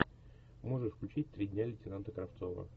можешь включить три дня лейтенанта кравцова